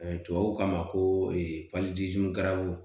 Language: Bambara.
tubabuw k'a ma ko